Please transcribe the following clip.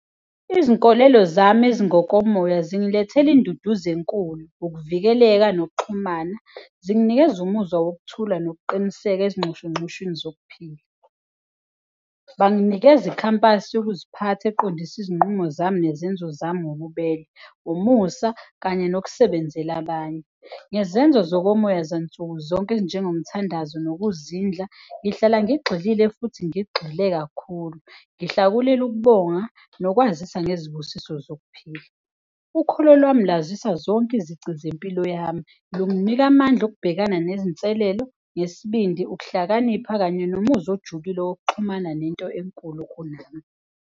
Izinkolelo zami ezingokomoya zingilethele induduzo enkulu. Ukuvikeleka nokuxhumana zinganikeza umuzwa wokuthi lula nokuqiniseka ezingcono uncosheni zokuphila. Banginikeze ikhampani yokuziphatha eqondiswe izinqumo zami nezenzo zami. Wububele umusa kanye yokusebenzela abanye ngezenzo zonke omoya zansukuzonke ezinjengo, umthandazo nokuzinza. Ngihlala ngigxile futhi ngigxile kakhulu. Uhlakulele ukubonga nokwazisa unezibusiso zokuphila, ukhula lwami uyazisa zonke izici zempilo yami linginika amandla. Ukubhekana nezinselelo ngesibindi, ukuhlakanipha kanye nomuzi olujulile okuxhumana nento enkulu kunami.